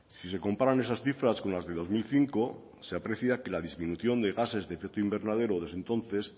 si se comparan esas cifras con las de dos mil cinco se aprecia que la disminución de gases de efecto invernadero desde entonces